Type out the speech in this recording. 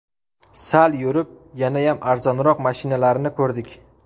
Sal yurib yanayam arzonroq mashinalarni ko‘rdik.